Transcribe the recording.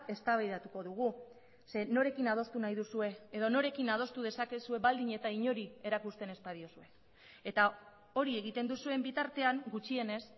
eztabaidatuko dugu ze norekin adostu nahi duzue edo norekin adostu dezakezue baldin eta inori erakusten ez badiozue eta hori egiten duzuen bitartean gutxienez